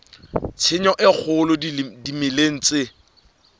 tshenyo e kgolo dimeleng tse